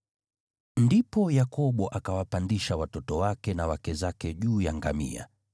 Ndipo Yakobo akawapandisha watoto wake na wake zake juu ya ngamia,